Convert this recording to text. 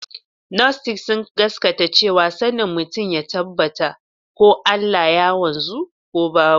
Gnostics sun gaskata cewa sanin mutum ya tabbata ko Allah ya wanzu ko babu.